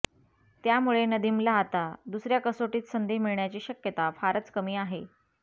त्यामुळे नदीमला आता दुसऱ्या कसोटीत संधी मिळण्याची शक्यता फारच कमी आहे